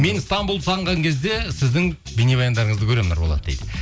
мен стамбулды сағынған кезде сіздің бейнебаяндарыңызды көремін нұрболат дейді